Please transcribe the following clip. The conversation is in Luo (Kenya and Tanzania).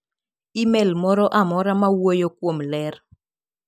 imel moro amora mawuoyo kuom ler.